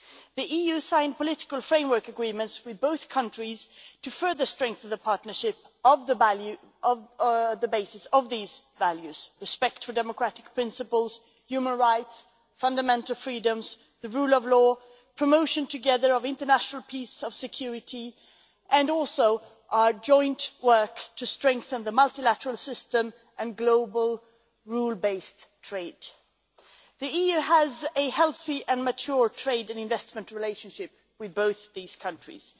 The EU has signed political framework agreements with both countries to further strengthen the partnership on the basis of these values respect for democratic principles, human rights, fundamental freedoms, the rule of law, promotion together of international peace and security, and also our joint work to strengthen the multilateral system and global rule-based trade. The EU has a healthy and mature trade and investment relationship with both these countries.